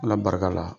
Ala barika la